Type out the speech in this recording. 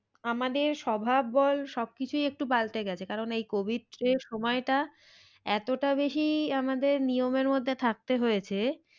আমাদের স্বভাব বল সব কিছুই একটু পাল্টে গেছে কারণ এই covid এর সময়টা এতটা বেশি আমাদের নিয়মের মধ্যে আমাদের থাকতে হয়েছে